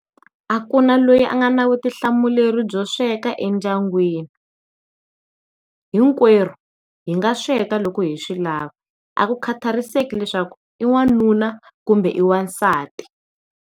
A ku na loyi a nga na vutihlamuleri byo sweka endyangwini, hinkwaru hi nga sweka loko hi swi lava a ku khathariseki leswaku i n'wanuna kumbe i n'wansati.